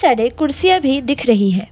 कुर्सीया भी दिख रही है।